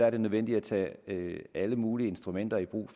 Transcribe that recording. er nødvendigt at tage alle mulige instrumenter i brug